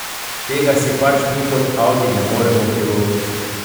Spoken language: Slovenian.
Tega si pač mi kot Audi ne moremo privoščiti.